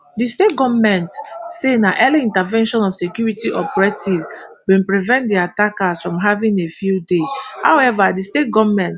di state goment say na early intervention of security operatives bin prevent di attackers from having a field day however di state goment